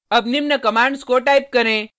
अब निम्न कमांड्स को टाइप करें